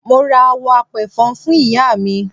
Mo ra àwọ̀ apẹ̀fọn fún Iyaami.